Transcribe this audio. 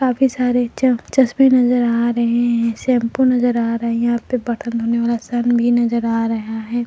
काफी सारे च चश्मे नजर आ रहे हैं शैंपू नजर आ रहे हैं यहां पे बर्तन होने वाला सन भी नजर आ रहा है।